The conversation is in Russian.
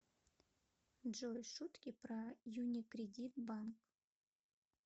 джой шутки про юникредит банк